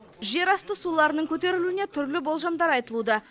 жерасты суларының көтерілуіне түрлі болжамдар айтылуда